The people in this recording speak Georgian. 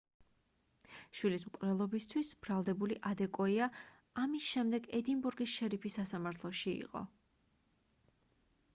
შვილის მკვლელობისთვის ბრალდებული ადეკოია ამის შემდეგ ედინბურგის შერიფის სასამართლოში იყო